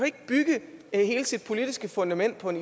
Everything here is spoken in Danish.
ikke bygge hele sit politiske fundament på en